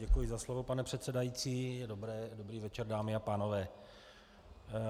Děkuji za slovo, pane předsedající, dobrý večer dámy a pánové.